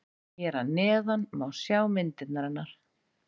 Hér að neðan má sjá myndirnar hennar.